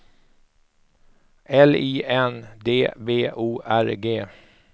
L I N D B O R G